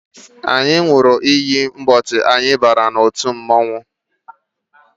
Anyị ṅụrụ iyi ụbọchị anyị bara n'otu mmọnwụ